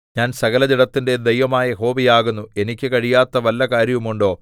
ഞാൻ സകലജഡത്തിന്റെയും ദൈവമായ യഹോവയാകുന്നു എനിക്ക് കഴിയാത്ത വല്ല കാര്യവും ഉണ്ടോ